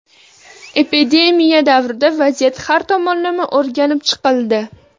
Epidemiya davrida vaziyat har tomonlama o‘rganib chiqildi.